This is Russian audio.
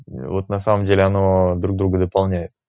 вот на самом деле оно друг друга дополняет